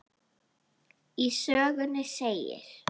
Í sögunni segir: